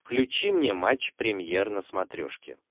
включи мне матч премьер на смотрешке